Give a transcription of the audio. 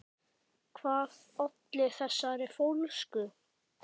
Hvað olli þessari fólsku?